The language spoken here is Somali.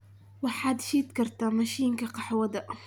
waxaad shid kartaa mashiinka qaxwada